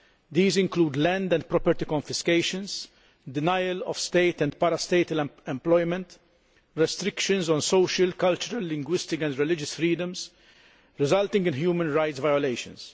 These include land and property confiscations, denial of state and para statal employment, and restrictions on social, cultural, linguistic and religious freedoms resulting in human rights violations.